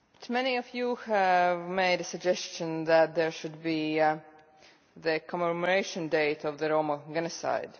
Many of you have made the suggestion that there should be a commemoration date of the Roma genocide.